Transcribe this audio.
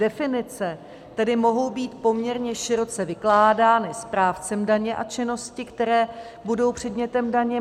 Definice tedy mohou být poměrně široce vykládány správcem daně a činnosti, které budou předmětem daně.